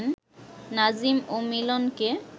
নাজিম ও মিলনকে